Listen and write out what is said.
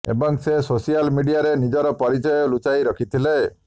ଏବଂ ସେ ସୋସିଆଲ ମିଡିଆରେ ନିଜର ପରିଚୟ ଲୁଚାଇ ରଖିଥିଲେ